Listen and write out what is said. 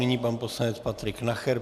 Nyní pan poslanec Patrik Nacher.